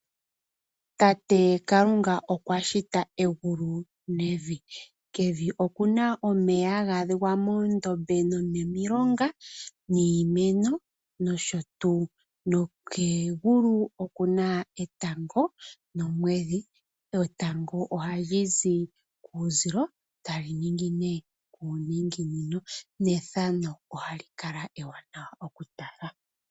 Tate Kalunga okwashita egulu nevi, kevi okuna omeya haga adhika moondombe, nomomilonga, niimeno nosho tuu. Kegulu okuna etango nomwedhi, etango ohalizi kuuzilo, etali ningine kuuninginino nethano ohali kala ewaanawa okutala.